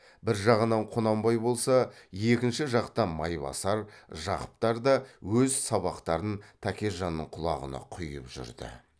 бір жағынан құнанбай болса екінші жақтан майбасар жақыптар да өз сабақтарын тәкежанның құлағына құйып жүрді